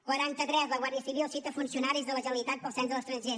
quaranta tres la guàrdia civil cita funcionaris de la generalitat pel cens a l’estranger